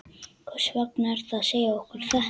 Hvers vegna ertu að segja okkur þetta?